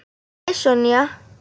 Hæ, Sonja.